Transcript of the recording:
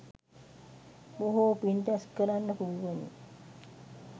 බොහෝ පින් රැස් කරන්න පුළුවනි.